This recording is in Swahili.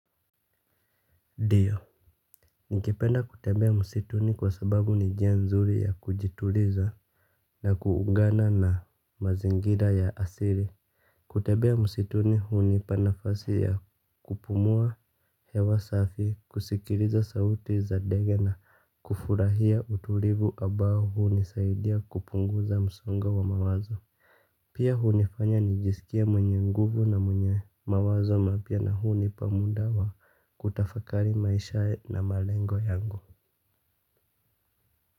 Diyo. Nikipenda kutembea msituni kwa sababu ni njia nzuri ya kujituliza na kuungana na mazingira ya asiri. Kutebea msituni huunipa nafasi ya kupumua hewa safi, kusikiriza sauti za dege na kufurahia utulivu abao huunisaidia kupunguza msongo wa mawazo. Pia hunifanya nijisikie mwenye nguvu na mwenye mawazo mapya na hunipa muda wa kutafakari maisha na malengo yangu.